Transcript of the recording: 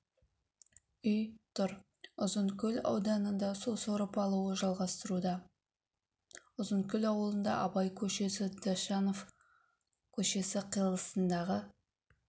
үй тұр ұзынкөл ауданында су сорып алуы жалғастыруда ұзынкөл ауылында абай көшесі дощанов көшесі қиылысындағы